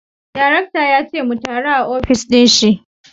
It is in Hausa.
Darakta ya ce mu taru a ofis dinshi